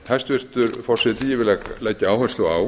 hæstvirtur forseti ég vil leggja áherslu á